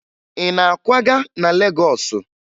Ị na-akwaga na Legọọsụ?